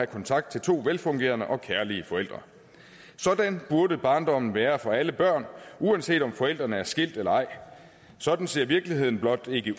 kontakt til to velfungerende og kærlige forældre sådan burde barndommen være for alle børn uanset om forældrene er skilt eller ej sådan ser virkeligheden blot ikke